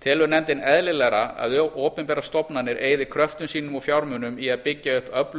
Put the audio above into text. telur nefndin eðlilegra að opinberar stofnanir eyði kröftum sínum og fjármunum í að byggja upp öfluga